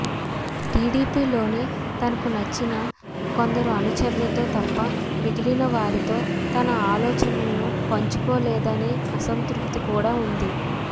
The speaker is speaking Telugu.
టిడిపిలోనే తనకు నచ్చిన కొందరు అనుచరుల తో తప్ప మిగిలిన వారితో తన ఆలోచనలను పంచుకోలే దనే అసంతృప్తికూడా ఉంది